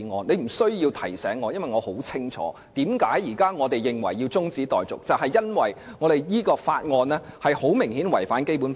你不必提醒我，我很清楚現時提出中止待續的原因，就是這項《條例草案》顯然違反《基本法》。